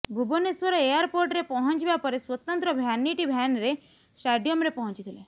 ଭୁବନେଶ୍ୱର ଏୟାରପୋର୍ଟରେ ପହଞ୍ଚିବା ପରେ ସ୍ୱତନ୍ତ୍ର ଭ୍ୟାନିଟି ଭ୍ୟାନ୍ରେ ଷ୍ଟାଡିୟମରେ ପହଞ୍ଚିଥିଲେ